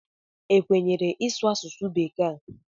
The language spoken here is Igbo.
Ekwenyere ịsụ asụsụ bekee ebe a?